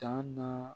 Dan na